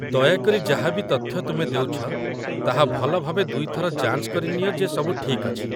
ଦୟାକରି ଯାହା ବି ତଥ୍ୟ ତୁମେ ଦେଉଛ, ତାହା ଭଲ ଭାବେ ଦୁଇ ଥର ଯାଞ୍ଚ କରିନିଅ ଯେ ସବୁ ଠିକ୍ ଅଛି